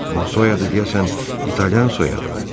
Amma soyadı deyəsən İtalyan soyadıdır.